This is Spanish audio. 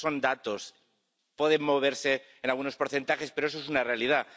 Esos son datos —pueden moverse en algunos porcentajes, pero eso es una realidad—.